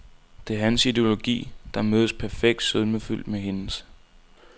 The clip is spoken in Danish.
Det er hans ideologi, der mødtes perfekt sødmefyldt med hendes.